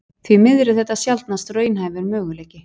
Því miður er þetta sjaldnast raunhæfur möguleiki.